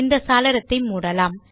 இந்த சாளரத்தை மூடலாம்